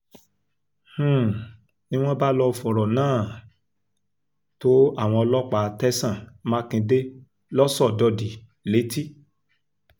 um ni wọ́n bá lọ́ọ́ fọ̀rọ̀ náà um tó àwọn ọlọ́pàá tẹ̀sán mákindè lọ́sọdọ̀dì létí